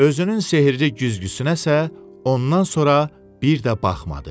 Özünün sehrli güzgüsünə isə ondan sonra bir də baxmadı.